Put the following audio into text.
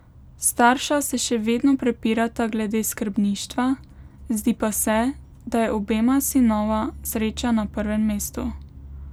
Starša se še vedno prepirata glede skrbništva, zdi pa se, da je obema sinova sreča na prvem mestu.